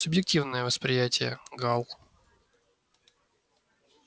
субъективное восприятие гаал